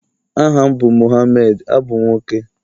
aha m bu Mohammed, abum nwoke